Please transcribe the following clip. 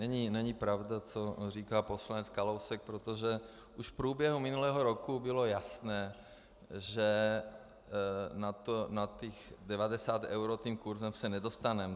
Není pravda, co říká poslance Kalousek, protože už v průběhu minulého roku bylo jasné, že na těch 90 eur tím kurzem se nedostaneme.